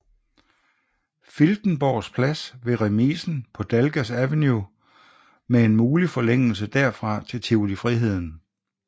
Filtenborgs Plads ved remisen på Dalgas Avenue med en mulig forlængelse derfra til Tivoli Friheden